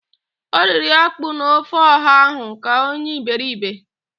O riri ákpú na ofe ọha ahụ ka onye iberibe.